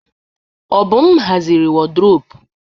Obum haziri wardrọpụ.